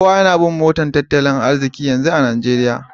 Kowa yana bin motar tattalin arziki yanzu a Najeriya